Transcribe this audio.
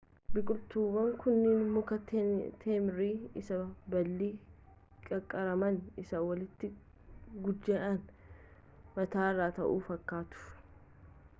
biqiltuuwwan kunniin muka teemirii isa baalli qaqqaramaan isaa walitti guujja'ee mataarra taa'u fakkaatu